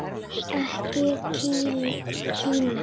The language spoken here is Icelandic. Ekki Kína.